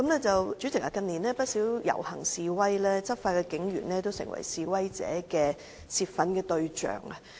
主席，近年不少遊行示威，執法的警員都成為示威者泄憤的對象。